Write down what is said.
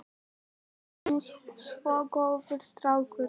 Þú ert nú svo góður strákur.